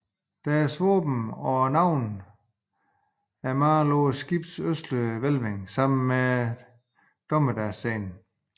Deres våben og navne er malede på skibets østlige hvælving sammen med en dommedagsscene